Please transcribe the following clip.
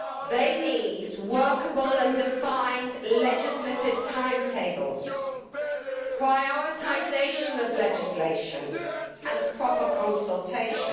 They need workable and defined legislative timetables, prioritisation of legislation and proper consultation.